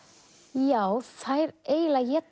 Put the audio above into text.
já þær eiginlega éta